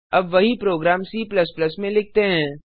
अब वही program C में लिखते हैं